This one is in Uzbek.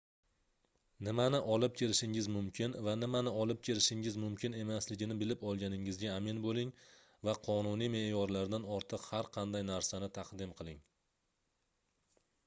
nimani olib kirishingiz mumkin va nimani olib kirishingiz mumkin emasligini bilib olganingizga amin boʻling va qonuniy meʼyorlardan ortiq har qanday narsani taqdim qiling